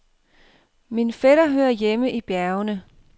Min fætter hører hjemme i bjergene.